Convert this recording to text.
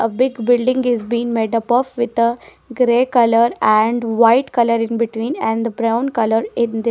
a big building is been made up of with the grey colour and white colour in between and the brown colour in the --